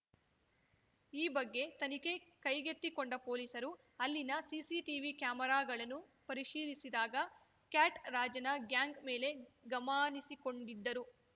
ಈ ಬಗ್ಗೆ ತನಿಖೆ ಕೈಗೆತ್ತಿಕೊಂಡ ಪೊಲೀಸರು ಅಲ್ಲಿನ ಸಿಸಿಟಿವಿ ಕ್ಯಾಮೆರಾಗಳನ್ನು ಪರಿಶೀಲಿಸಿದಾಗ ಕ್ಯಾಟ್‌ ರಾಜನ ಗ್ಯಾಂಗ್‌ ಮೇಲೆ ಗಮಾನಿಸಿಕೋಂಡಿದ್ದರು